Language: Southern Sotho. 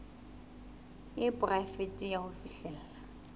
e poraefete ya ho fihlella